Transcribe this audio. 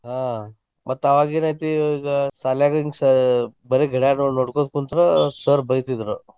ಹಾ ಮತ್ ಅವಾಗೇನ ಐತಿ ಈಗ ಸಾಲ್ಯಾಗ ಹಿಂಗ ಸ ಬರೆ ಗಿಡಗಳನ್ನನೋಡ್ಕೊಂತ ಕುಂತ್ರ sir ಬೈತಿದ್ರು.